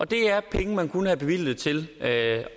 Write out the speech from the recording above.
det er penge man kunne have bevilget til at